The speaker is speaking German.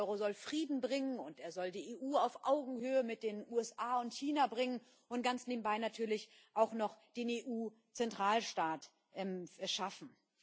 Der Euro soll Frieden bringen, und er soll die EU auf Augenhöhe mit den USA und China bringen und ganz nebenbei natürlich auch noch den EU Zentralstaat schaffen.